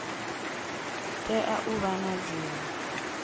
tea u vha na dzina